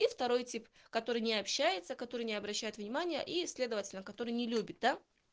и второй тип который не общается который не обращает внимание и следовательно который не любит да